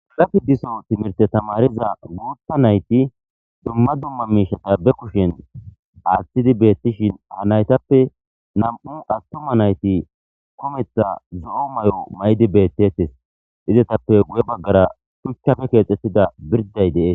lafi diso timirte tamariza guutta nayti dumma dumma miishata be kushen aaththidi beettishin ha naytappe nam7u attuma nayti kometha zo7o may7o maydi beettetes izetappe guye baggara shuchchafe keexxettida birday dee